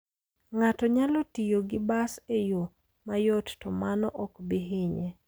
Ng'ato nyalo tiyo gi bas e yo mayot, to mano ok bi hinye.